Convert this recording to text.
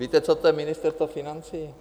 Víte, co je to Ministerstvo financí?